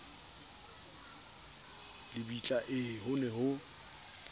lebitla ee ho ne ho